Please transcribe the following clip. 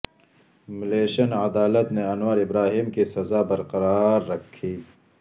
Malaysian عدا لت نے انور ابر اہیم کی سز ا بر قرا ر ر کھی